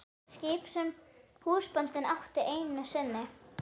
Skip sem húsbóndinn átti einu sinni.